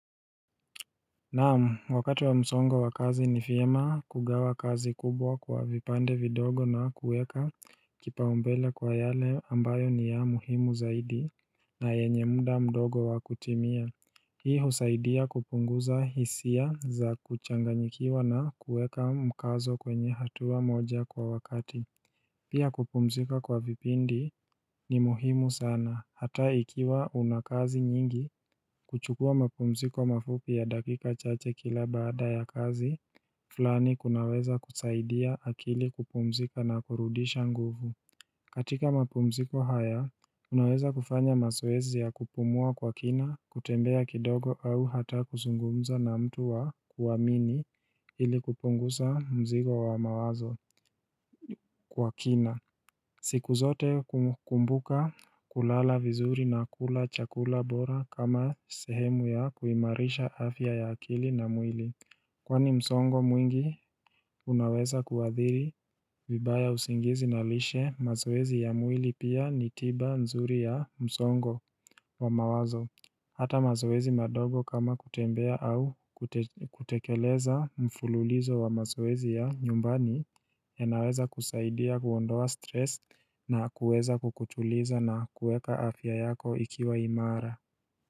Naam wakati wa msongo wakazi ni vyema kugawa kazi kubwa kwa vipande vidogo na kueka kipaombele kwa yale ambayo ni ya muhimu zaidi na yenye mda mdogo wakutimia Hii husaidia kupunguza hisia za kuchanganyikiwa na kueka mkazo kwenye hatua moja kwa wakati Pia kupumzika kwa vipindi ni muhimu sana, hata ikiwa unakazi nyingi, kuchukua mapumziko mafupi ya dakika chache kila baada ya kazi, flani kunaweza kusaidia akili kupumzika na kurudisha nguvu. Katika mapumziko haya, unaweza kufanya mazoezi ya kupumua kwa kina, kutembea kidogo au hata kuzungumza na mtu wa kuwamini ili kupungusa mzigo wa mawazo kwa kina. Siku zote kumbuka kulala vizuri na kula chakula bora kama sehemu ya kuimarisha afya ya akili na mwili. Kwani msongo mwingi unaweza kuadhiri vibaya usingizi na lishe mazoezi ya mwili pia ni tiba nzuri ya msongo wa mawazo. Hata mazoezi madogo kama kutembea au kutekeleza mfululizo wa mazoezi ya nyumbani ya naweza kusaidia kuondoa stress na kuweza kukutuliza na kueka afya yako ikiwa imara.